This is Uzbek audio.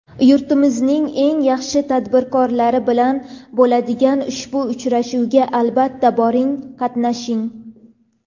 Yurtimizning eng yaxshi tadbirkorlari bilan bo‘ladigan ushbu uchrashuvga, albatta, boring, qatnashing.